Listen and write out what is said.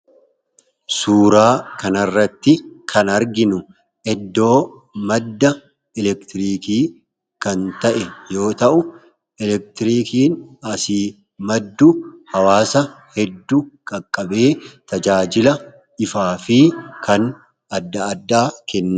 suuraa kanarratti kan arginu eddoo madda elektiriikii kan ta'e yoo ta'u elektiriikiin asii maddu hawaasa hedduu qaqqabee tajaajila ifaa fi kan adda addaa kennee